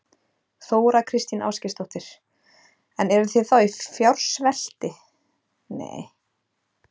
Þóra Kristín Ásgeirsdóttir: En eruð þið þá í fjársvelti?